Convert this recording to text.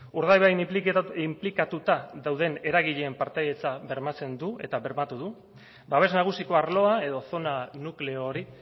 urdaibain inplikatuta dauden eragileen partaidetza bermatzen du eta bermatu du babes nagusiko arloa edo zona nukleo hori